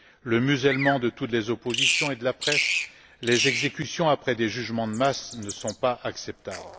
Le musellement de toutes les oppositions et de la presse et les exécutions après des jugements de masse ne sont pas acceptables.